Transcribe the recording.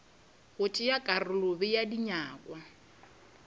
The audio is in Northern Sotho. go tšea karolo bea dinyakwa